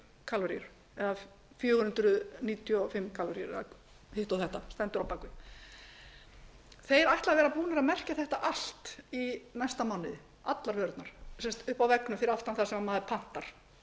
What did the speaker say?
kaloríur eða fjögur hundruð níutíu og fimm kaloríur þeir ætla að vera búnir að merkja þetta allt í næsta mánuði allar vörurnar uppi á veggnum fyrir aftan þar sem maður pantar